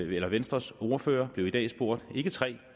venstres ordfører blev i dag spurgt ikke tre